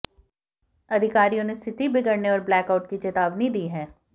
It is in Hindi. अधिकारियों ने स्थिति बिगड़ने और ब्लैकआउट की चेतावनी दी है